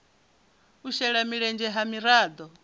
u shela mulenzhe ha miraḓo